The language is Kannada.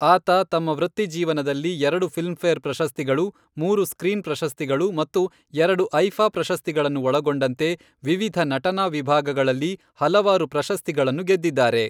ಆತ ತಮ್ಮ ವೃತ್ತಿಜೀವನದಲ್ಲಿ ಎರಡು ಫಿಲ್ಮ್ಫೇರ್ ಪ್ರಶಸ್ತಿಗಳು, ಮೂರು ಸ್ಕ್ರೀನ್ ಪ್ರಶಸ್ತಿಗಳು ಮತ್ತು ಎರಡು ಐಫಾ ಪ್ರಶಸ್ತಿಗಳನ್ನು ಒಳಗೊಂಡಂತೆ ವಿವಿಧ ನಟನಾ ವಿಭಾಗಗಳಲ್ಲಿ ಹಲವಾರು ಪ್ರಶಸ್ತಿಗಳನ್ನು ಗೆದ್ದಿದ್ದಾರೆ.